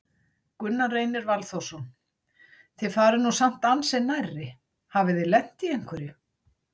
Gunnar Reynir Valþórsson: Þið farið nú samt ansi nærri, hafið þið lent í einhverju?